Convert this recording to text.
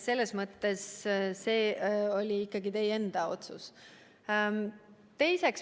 See oli ikkagi teie enda otsus.